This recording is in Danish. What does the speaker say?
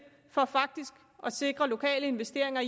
for faktisk at sikre lokale investeringer